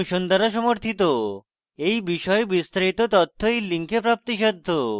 এই বিষয়ে বিস্তারিত তথ্য এই link প্রাপ্তিসাধ্য